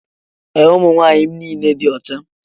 Ee, ụmụ nwaanyị m niile dị ọcha